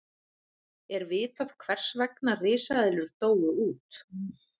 er vitað hvers vegna risaeðlur dóu út